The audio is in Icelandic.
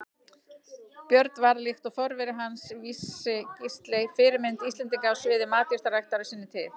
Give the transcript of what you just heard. Björn varð, líkt og forveri hans Vísi-Gísli, fyrirmynd Íslendinga á sviði matjurtaræktar á sinni tíð.